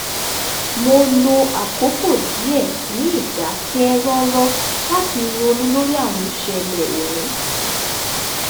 mo lo àkókò díẹ̀ ní ìdákẹ́ rọ́rọ́ láti ronú lórí àwọn ìṣẹ̀lẹ̀ òní